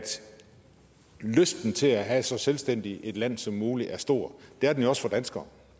lysten til at have så selvstændigt et land som muligt er stor det er den også for danskere